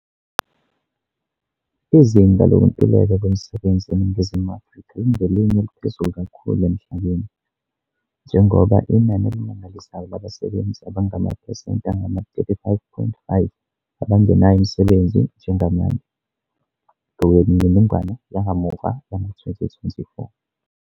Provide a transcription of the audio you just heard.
Izinga lokuntuleka kwemisebenzi eNingizimu Afrika lingelinye eliphezulu kakhulu emhlabeni, njengoba inani elimangalisayo labasebenzi abangamaphesenti angama-35.5 abangenawo umsebenzi njengamanje, ngokwemininingwane yakamuva yango-2024.